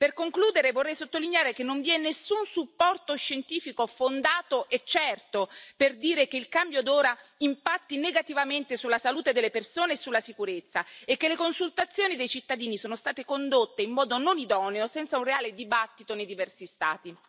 Per concludere vorrei sottolineare che non vi è nessun supporto scientifico fondato e certo per dire che il cambio d'ora impatti negativamente sulla salute delle persone e sulla sicurezza e che le consultazioni dei cittadini sono state condotte in modo non idoneo e senza un reale dibattito nei diversi Stati.